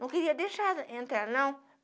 Não queria deixar entrar não.